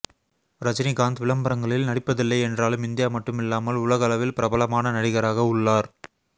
ரஜினிகாந்த் விளம்பரங்களில் நடிப்பதில்லை என்றாலும் இந்தியா மட்டும் இல்லாமல் உலகளவில் பிரபலமான நடிகராக உள்ளார்